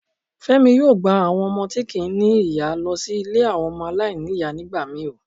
Femi yoo gba awon omo ti kii ní iya lọ sí ile awọn ọmọ to ko ni iya nigbamii o.